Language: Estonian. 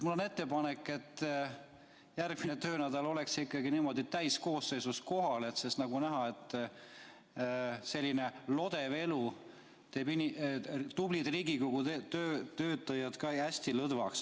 Mul on ettepanek, et järgmisel töönädalal oleks täiskoosseis kohal, sest nagu näha, teeb selline lodev elu tublid Riigikogu töötajad hästi lõdvaks.